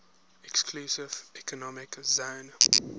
exclusive economic zone